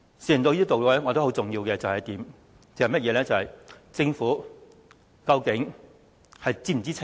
事情到了這地步，我覺得很重要的一點是，政府究竟是否知情？